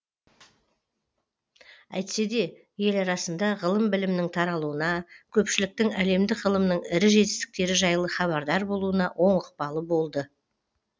әйтсе де ел арасында ғылым білімнің таралуына көпшіліктің әлемдік ғылымның ірі жетістіктері жайлы хабардар болуына оң ықпалы болды